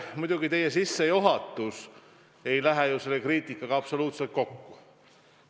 Paraku teie sissejuhatus ei lähe tehtud kriitikaga absoluutselt kokku.